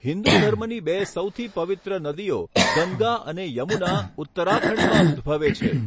હિંદુ ધર્મની બે સૌથી પવિત્ર નદીઓ, ગંગા અને યમુના, ઉત્તરાખંડમાં ઉદ્દભવે છે.